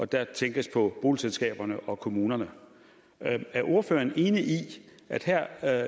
der tænkes på boligselskaberne og kommunerne er er ordføreren enig i at her